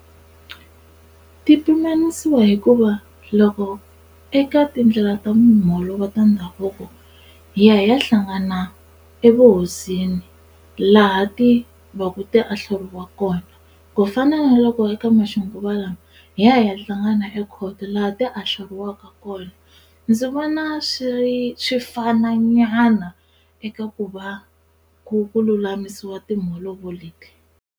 Ti pimanisiwa hikuva loko eka tindlela ta mholovo ta ndhavuko hi ya hi ya hlangana evuhosini laha ti va ku ti ahluriwa kona ku fana na loko eka maxinguva lawa hi ya hi ya hlangana ekhoto laha ti ahluriwaka kona ndzi vona swi ri swi fana nyana eka ku va ku ku lulamisiwa timholovo leti.